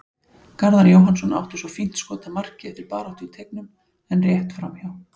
Garðar Jóhannsson átti svo fínt skot að marki eftir baráttu í teignum en rétt framhjá.